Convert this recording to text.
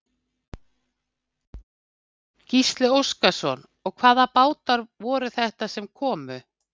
Gísli Óskarsson: Og hvaða bátar voru þetta sem komu?